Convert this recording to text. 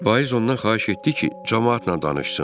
Vaiz ondan xahiş etdi ki, camaatla danışsın.